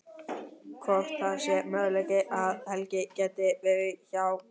Hvort það sé möguleiki að Helgi geti verið hjá.